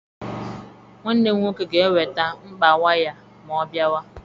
Nwanne m nwoke ga-eweta mkpa waya ma ọ bịawa.